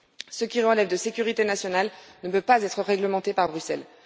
Ce qui relève de la sécurité nationale ne peut être réglementé par Bruxelles.